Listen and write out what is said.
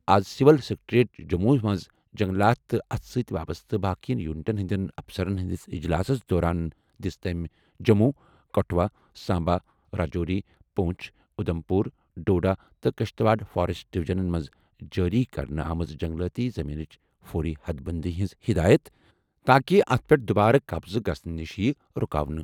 آز civil secretariat Jammu منٛز جنگلات تہٕ اتھ سۭتۍ وابستہٕ باقین یونٹَن ہٕنٛدٮ۪ن افسرَن ہٕنٛدِس اجلاسَس دوران دِژ تٔمۍ جموں، کٹھوا ،سامبا، راجوری، پونچھ، اُدھم پور، ڈوڈا تہٕ کشتواڑ فاریسٹ ڈویژنَن منٛز جٲری کرنہٕ آمٕژ جنگلاتی زمینٕچ فوری حد بندی ہٕنٛز ہدایت تاکہ اتھ پٮ۪ٹھ دُبارٕ قبضہٕ گژھنہٕ نِش ییہِ رُکاونہٕ.